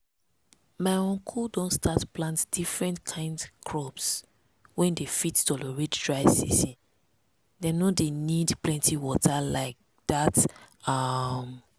my uncle don start plant different kind crops wey dey fit tolerate dry season dem no dey need plenty water like that. um